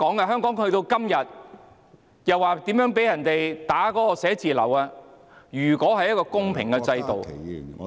香港去到今天的地步，辦事處被人破壞，如果是公平的制度......